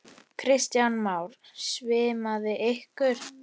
Kristján Már: Svimaði ykkur?